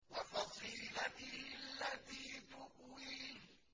وَفَصِيلَتِهِ الَّتِي تُؤْوِيهِ